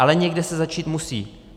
Ale někde se začít musí.